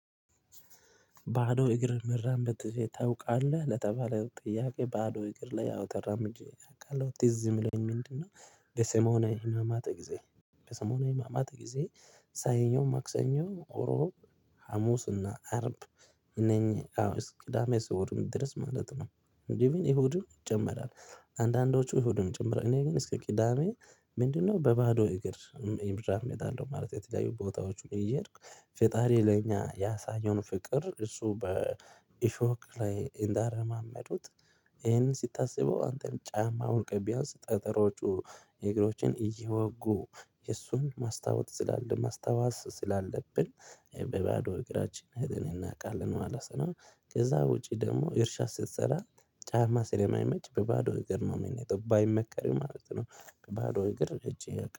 ባዶ እግር መራመድ ታውቃለህ ለተባለው ጥያቄ ባዶ እግር ላይ አዎ ተራምጄ አውቃለሁ ትዝ የሚለኝ ምንድነው? በሰሞና ህማማት ጊዜ በሰሞና የህማማት ጊዜ ሰኞ ማክሰኞ እሮብ ሀሙስ እና አርብ እነኝህ አዎ እስኪ ቅዳሜ እሁድም ድረስ ማለት ነው። ኢቭን እሁድም ይጨምራል። አንዳንዶቹ እሁድም ጭምር እኔ ግን እስከ ቅዳሜ ምንድነው በባዶ እግር? እራመዳለው ማለት የተለያዩ ቦታዎችም እየሄድኩ ፈጣሪ ለኛ ያሳኘውን ፍቅር እሱ በኢሾክ ላይ እንዳረማመዱት። ይሄን ሲታሰበው አንተም ጫማ አውልቀህ ቢያንስ ጠጠሮጩ እግሮችን እየወጉ የእሱን ማስታወስ ስላለ ማስተዋስ ስላለብን በባዶ እግራችን ሄደን እናውቃለን ማለት ነው። ከዚያ ወጪ ደግሞ እርሻ ስትሰራ ጫማ ስለማይመች በባዶ እግር ነው የምንሄደው ባይመከርም ማለት ነው። በባዶ እግር ሄጄ